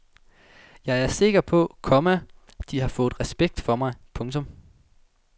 Jeg er sikker på, komma de har fået respekt for mig. punktum